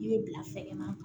I bɛ bila sɛgɛn na